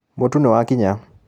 Mũtu nĩwakinya.